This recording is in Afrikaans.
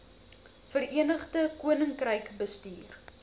verenigde koninkryk bestuur